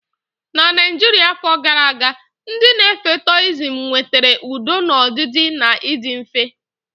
Na Naijiria afọ gara aga, ndị na-efe Taoism nwetara udo na ọdịdị na ịdị mfe.